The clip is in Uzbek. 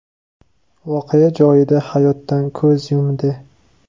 voqea joyida hayotdan ko‘z yumdi.